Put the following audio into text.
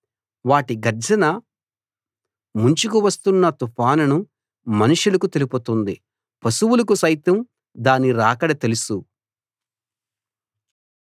వాటి గర్జన ముంచుకు వస్తున్న తుఫానును మనుషులకు తెలుపుతుంది పశువులకు సైతం దాని రాకడ తెలుసు